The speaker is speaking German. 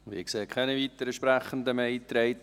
Es sind keine weiteren Sprechenden mehr eingetragen.